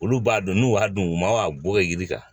Olu b'a dɔn n'u y'a dun u ma a bɔ yiri kan